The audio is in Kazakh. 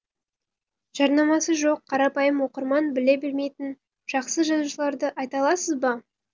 жарнамасы жоқ қарапайым оқырман біле бермейтін жақсы жазушыларды айта аласыз ба